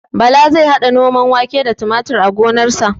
Bala zai haɗa noman wake da tumatir a gonarsa